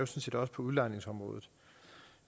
set også på udlejningsområdet